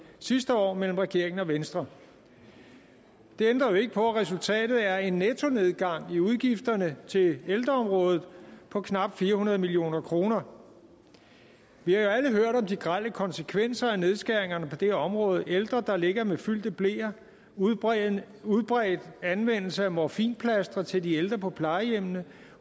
sidste år mellem regeringen og venstre det ændrer jo ikke på at resultatet er en nettonedgang i udgifterne til ældreområdet på knap fire hundrede million kroner vi har alle hørt om de grelle konsekvenser af nedskæringerne på det her område ældre der ligger med fyldte bleer udbredt udbredt anvendelse af morfinplastre til de ældre på plejehjemmene